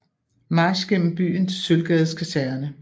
March gennem byen til Sølvgades Kaserne